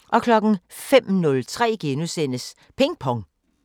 05:03: Ping Pong *